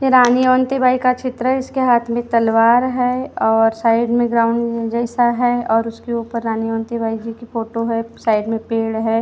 ये रानी ओंते बाई का चित्र है इसके हाथ में तलवार है और साइड में ग्राउंड जैसा है और उसके ऊपर रानी ओंतेबाई जी की फोटो है साइड में पेड़ है।